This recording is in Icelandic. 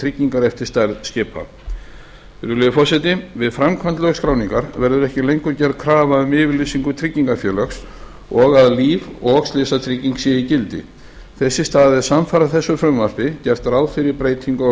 tryggingar eftir stærð skipa virðulegi forseti við framkvæmd lögskráningar verður ekki lengur gerð krafa um yfirlýsingu tryggingafélags og að líf og slysatrygging sé í gildi þess í stað er samfara þessu frumvarpi gert ráð fyrir breytingu á